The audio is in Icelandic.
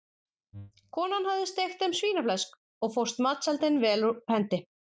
Konan hafði steikt þeim svínaflesk og fórst matseldin vel úr hendi.